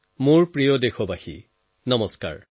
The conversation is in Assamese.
মোৰ প্ৰিয় দেশবাসী নমস্কাৰ